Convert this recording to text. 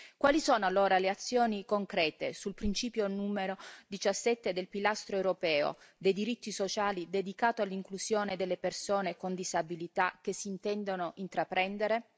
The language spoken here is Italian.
Quali sono allora le azioni concrete sul principio numero 17 del pilastro europeo dei diritti sociali dedicato all'inclusione delle persone con disabilità che si intendono intraprendere?